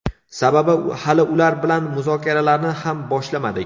Sababi, hali ular bilan muzokaralarni ham boshlamadik.